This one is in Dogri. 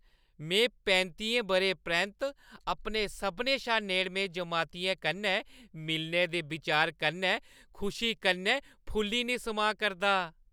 में पैंतियें बʼरें परैंत्त अपने सभनें शा नेड़में जमातियें कन्नै मिलने दे विचार कन्नै खुशी कन्नै फुल्ली निं समाऽ करदा ।